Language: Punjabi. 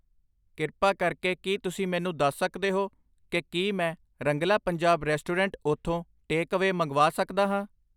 ਕਿਰਪਾ ਕਰਕੇ ਕੀ ਤੁਸੀਂ ਮੈਨੂੰ ਦੱਸ ਸਕਦੇ ਹੋ ਕਿ ਕੀ ਮੈਂ ਰੰਗਲਾ ਪੰਜਾਬ ਰੈਸਟੋਰੈਂਟ ਉਥੋਂ ਟੇਕਅਵੇ ਮੰਗਵਾ ਸਕਦਾ ਹਾਂ